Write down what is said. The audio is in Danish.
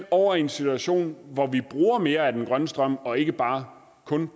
over i en situation hvor vi bruger mere af den grønne strøm og ikke bare